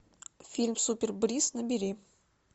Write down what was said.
фильм супер брис набери